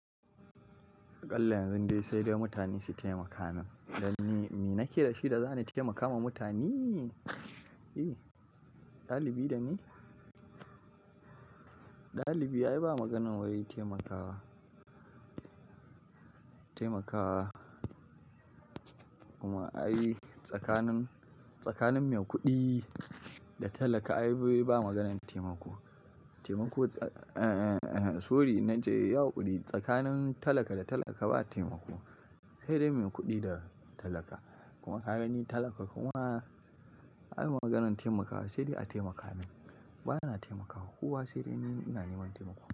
Ƙalla yanzu dai sai dai mutane su taimaka min. Dan me? Me nake da shi da zani taimaka ma mutane? E! Dalibi da me? Dalibi ayi ba maganar wai taimakawa, taimakawa kuma ayi tsakanin, tsakanin mai kuɗi da talaka ayi ba maganar taimako. Taimako, eh, sorry naje ya haƙuri Tsakanin talaka da talaka ba taimako, sai dai mai kuɗi da talaka. Kuma ka gani talaka kuma an maganar taimakawa sai dai a taimaka min. Bana taimakawa kowa sai dai ina neman taimako.